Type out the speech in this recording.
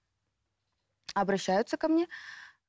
обращаются ко мне